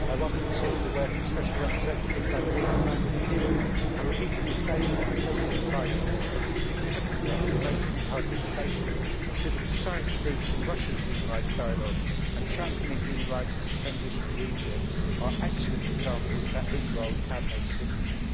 I welcome, too, the work of Special Representative Lambrinidis and repeat in this chamber what I said to him privately, that his significant work in promoting the participation of civil society groups in Russia's human rights dialogue and championing human rights in the transition in Egypt are excellent examples that his role can make a difference.